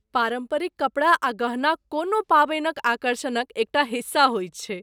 पारम्परिक कपड़ा आ गहना कोनो पाबनिक आकर्षणक एकटा हिस्सा होइत छैक।